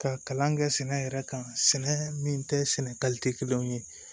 Ka kalan kɛ sɛnɛ yɛrɛ kan sɛnɛ min tɛ sɛnɛ kelenw ye